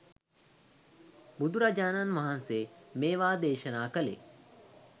බුදුරජාණන් වහන්සේ මේවා දේශනා කළේ